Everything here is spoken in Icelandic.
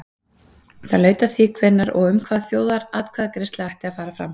það laut að því hvenær og um hvað þjóðaratkvæðagreiðsla ætti að fara fram